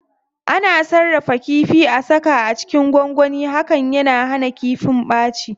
Ana sarrafa kifi,a saka a cikin gwangwani, hakan yana hana kifin ɓaci.